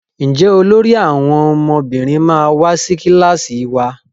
Njé olórí àwọn ọmọbìnrin ma wá sí kilasi wá?